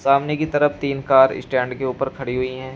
सामने की तरफ तीन कार इश्स्टैंड के ऊपर खड़ी हुई है।